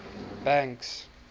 banks